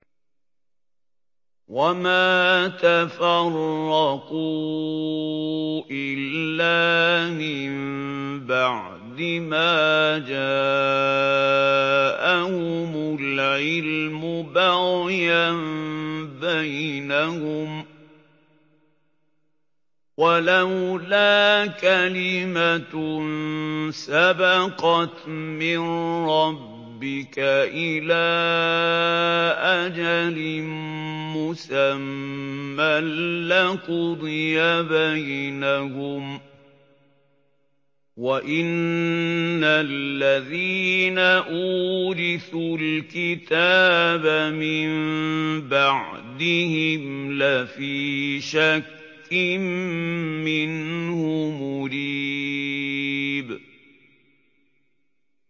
وَمَا تَفَرَّقُوا إِلَّا مِن بَعْدِ مَا جَاءَهُمُ الْعِلْمُ بَغْيًا بَيْنَهُمْ ۚ وَلَوْلَا كَلِمَةٌ سَبَقَتْ مِن رَّبِّكَ إِلَىٰ أَجَلٍ مُّسَمًّى لَّقُضِيَ بَيْنَهُمْ ۚ وَإِنَّ الَّذِينَ أُورِثُوا الْكِتَابَ مِن بَعْدِهِمْ لَفِي شَكٍّ مِّنْهُ مُرِيبٍ